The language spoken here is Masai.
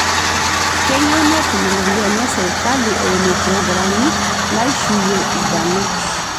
Keyieu netum ropiyiani e sirkali eimu programi naishuyie ilbarnot